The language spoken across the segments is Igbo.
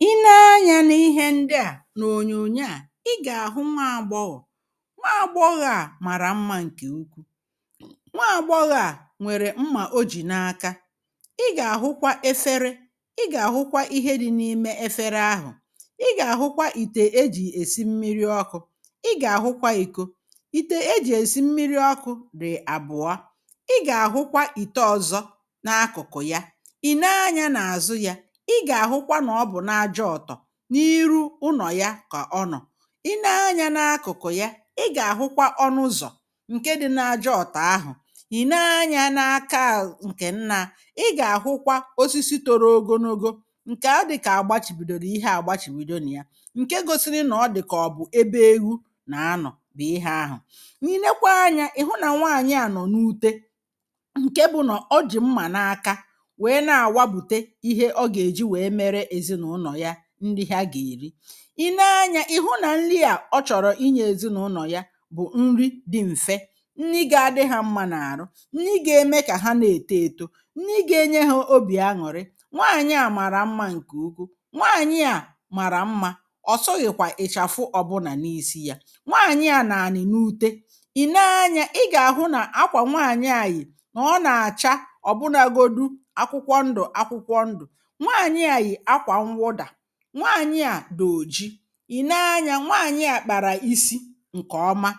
I nee anya n’ihe ndị a na ọ̀nyọ̀nyọ a ị ga-ahụ nwaagbọghọ, nwaagbọghọ a mara mma nke ukwụ nwaagbọghọ a nwere mma ọ jì n’aka ị ga-ahụkwa efere ị ga-ahụkwa ihe di n’ime efere ahụ̀ ị ga-ahụkwa ìte ejì esi mmiri ọkụ̇ ị ga-ahụkwa ìkọ ìte ejì esi mmiri ọkụ̇ dì abụ̀ọ ị ga-ahụkwa ìte ọ̀zọ n’akụ̀kụ̀ ya ì nee anya n’azụ ya ị ga-ahụkwa na ọ bụ n'aja ọtọọ n’irụ ụnọ̀ ya ka ọnọ̀ i nee anya n’akụ̀kụ̀ ya ị ga-ahụkwa ọnụ̇ ụ̀zọ̀ nke di n’aja ọ̀tọọ ahụ̀ ì nee anya n’aka a nke nna ị ga-ahụkwa ọsisi tọrọ ọgọnọgọ nke a dị̀ka agbachì bùdọ̀rọ̀ ihe agbachì bidọ na ya nke gọsiri na ọ dị̀ka ọ̀ bụ̀ ebe ewụ na anọ̀ bì ihe ahụ̀ n’inėkwa anya ị̀ hụ na nwaanyị a nọ̀ n’ụte nke bụ̀nọ̀ ọ jì mma n’aka wee na-awabùte ihe ọ ga-eji wee mere ezinaụnọ̀ ya nri̇ ha ga-eri ì nee anya ì hụ na nri a ọ chọ̀rọ̀ inyė ezinaụlọ̀ ya bụ̀ nri dị m̀fe nni ga adị ha mma na-arụ nni ga-eme ka ha na-etọ ėtọ, nni ga-enye ha ọbì añụ̀rị nwaanyị a mara mma nke ụkwụ nwaanyị a mara mma ọ̀ sụghị̀ kwa ị̀chafụ ọ̀bụna n’isi ya nwaanyị a na-anị̀ n’ụte ì nee anya ị ga-ahụ na akwa nwaanyị anyị na ọ na-acha ọ̀bụnagọdụ akwụkwọ ndụ̀ akwụkwọ ndụ̀ nwaanyị a yi akwa nwụda, nwaanyị a dị̀ ọ̀ji ì nee anya nwaanyị a kpara isi nke ọma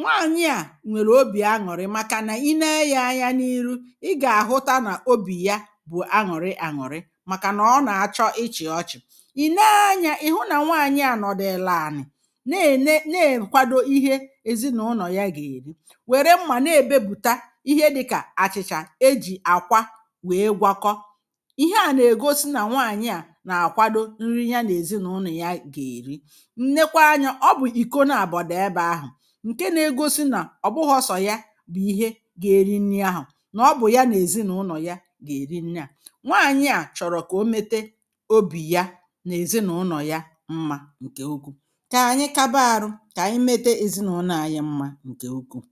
nwaanyị a nwere ọbì aṅụ̀rị makana i nee ya anya n’ihụ ị ga-ahụta na ọbì ya bụ̀ añụ̀rị añụ̀rị maka na ọ na-achọ ịchị̇ ọchị̀ ì nee anya ị̀ hụ na nwaanyị a nọ̀dụ ele anị̀ na-ene na-ekwadọ ihe ezinụnọ̀ ya ga-eri were mma na-ebe bùta ihe dịka achị̇cha ejì akwa wee gwakọ ihe a na-egọsi na nwaanyị a na-akwadọ nri ya na ezinụlọ̀ ya ga-eri nnekwa anya ọ bụ̀ ìkọ na abọ̀ di ebe ahụ̀ nke na-egọsi na ọ̀bụghọ̇ sọ̀ ya bụ̀ ihe ga-eri nni ahụ̀ na ọ bụ̀ ya na ezinụnọ̀ ya ga-eri nni a nwaanyị a chọ̀rọ̀ ka ọ mete ọbì ya na ezinụlọ̀ ya mma nke ụkwụ ka anyị kabarụ ka anyị mete ezinụnọ̀ anyị mma nke ụkwù